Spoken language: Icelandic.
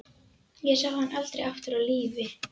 Ég sá hann aldrei aftur á lífi.